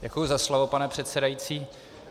Děkuji za slovo, pane předsedající.